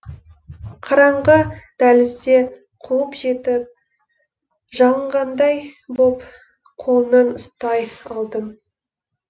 қараңғы дәлізде қуып жетіп жалынғандай боп қолынан ұстай алдым